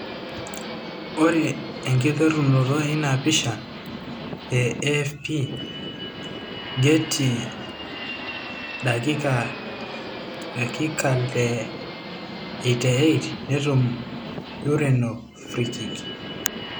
Ore enkiterunoto ina pisha, AFP/Getty Dakikale 88,netum Ureno frikiki.